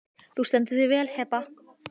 Þú stendur þig vel, Heba!